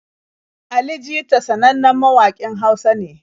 Ali jita sanannen mawaƙin Hausa ne.